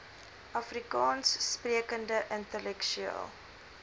afrikaans sprekende intellektueel